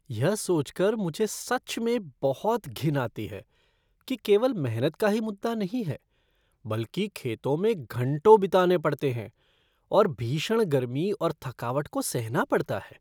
यह सोच कर मुझे सच में बहुत घिन आती है कि केवल मेहनत का ही मुद्दा नहीं है, बल्कि खेतों में घंटों बिताने पड़ते हैं और भीषण गर्मी और थकावट को सहना पड़ता है।